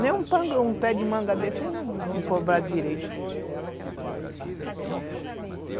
Nem um pé de manga desse não direito.